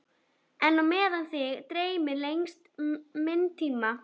En á meðan þig dreymir lengist minn tími.